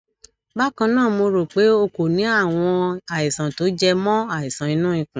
bákan náà mo rò pé o kò ní àwọn àìsàn tó jẹ mọ àìsàn inú ikùn